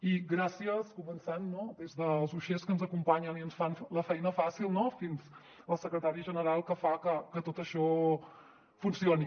i gràcies començant des dels uixers que ens acompanyen i ens fan la feina fàcil fins al secretari general que fa que tot això funcioni